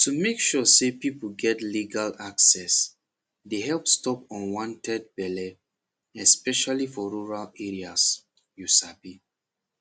to make sure say people get legal access dey help stop unwanted belle especially for rural areas you sabi